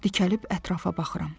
Dikəlib ətrafa baxıram.